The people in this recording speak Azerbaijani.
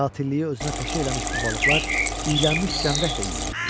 Qatiliyi özünə peşə eləmiş bu balıqlar iylənmiş cəmdək də yeyirdilər.